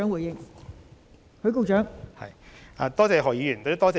代理主席，多謝何議員的補充質詢。